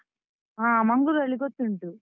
ಹಾ, ಮಂಗಳೂರಲ್ಲಿ ಗೊತ್ತುಂಟು.